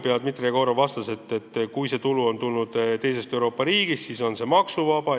Dmitri Jegorov vastas, et kui see tulu on tulnud teisest Euroopa riigist, siis on see maksuvaba.